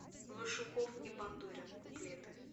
вашуков и бандурин куплеты